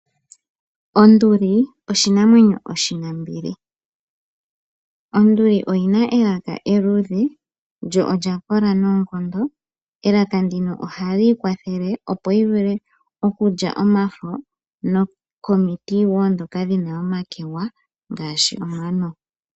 Onduli oshinamwenyo oshinambili. Onduli oyina elaka eluudhe lyo olya kola noonkondo. Elaka ndino ohali yi kwathele opo yi vule okulya omafo nokomiti woo ndhoka dhina omakegwa ngaashi omano.